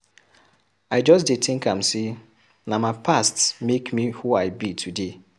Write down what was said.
I just dey tink am sey na my past make me who I be today.